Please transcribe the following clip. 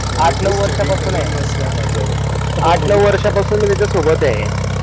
आठ नऊ वर्षांपासून आहे आठ नऊ वर्षांपासून मी त्याच्यासोबत आहे.